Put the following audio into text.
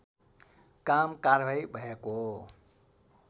काम कारवाही भएको